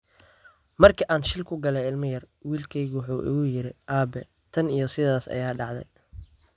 "Markii aan shil ku galay ilmo yar, wiilkeygu wuxuu igu yiri: Aabe, tan iyo sidaas ayaa dhacay.